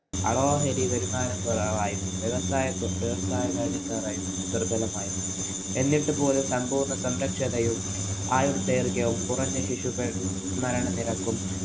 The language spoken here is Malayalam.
ആളോഹരി വരുമാനം കുറവായിരുന്നു. വ്യവസായ ദുര്‍ബലമായിരുന്നു. എന്നിട്ട് പോലും സമ്പൂര്‍ണ്ണ സംരക്ഷതയും, ആയൂര്‍ ദൈര്‍ഘ്യവും, കുറഞ്ഞ ശിശുക്കള്‍ മരണനിരക്കും